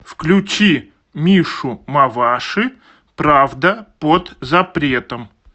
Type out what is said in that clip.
включи мишу маваши правда под запретом